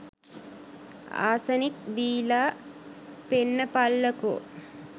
Arsenic දීල පෙන්නපල්ලකෝ.